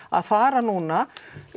að fara núna